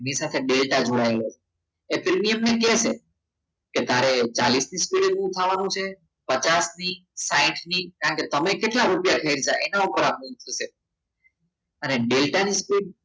એની સાથે ડેલ્ટા જોડાયેલો છે એ પ્રીમિયમ કહેશે કે તારે ચાડીસની સ્પીડે છે ઉઠવાનું છે પચાસની સાહીથની કારણકે તમે કેટલા રૂપિયા છે એના ઉપર આધાર છે અને ડેલ્ટાની speed